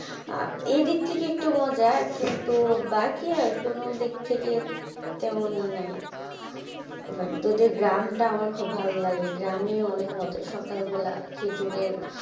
আহ এদিক থেকে একটু মজা কিন্তু বাকি আর কোনো দিক থেকে তেমন ইয়ে নাই but তোদের গ্রাম টা আমার খুব ভালো লাগে গ্রামে অনেক মজা, সকাল বেলা খেজুরের,